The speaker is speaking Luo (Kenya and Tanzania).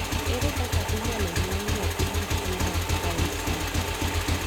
Ere kaka inyalo nyuol nyathi gi tuwo mar Fryns syndrome?